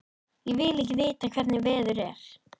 Ég vil ekki vita hvernig veður er.